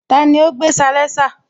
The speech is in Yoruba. Tani ó gbé salénsà?